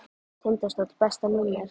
Tindastóll Besta númer?